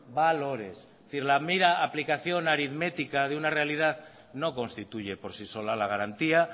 valores es decir la mera aplicación aritmética de una realidad no constituye por sí sola la garantía